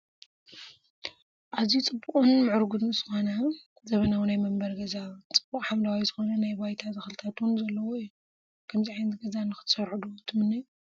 ኣዝዩ ፅቡቕን ምዕሩግን ዝኾነ ዘበናዊ ናይ መንበሪ ገዛ ፣ፅቡቕ ሓምለዋይ ዝኾኑ ናይ ባይታ ተኽልታት ውን ዘለውዎ እዩ፡፡ ከምዚ ዓይነት ገዛ ንኽትሰርሑ ዶ ትምነዩ?